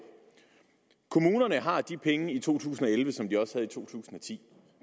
kommunerne har de penge i to tusind og elleve som de også havde i to tusind og ti